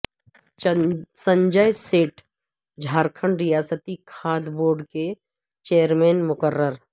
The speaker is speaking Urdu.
سنجئے سیٹھ جھارکھنڈ ریاستی کھادی بورڈ کے چیئرمین مقرر